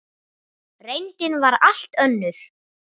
Reyndin var allt önnur.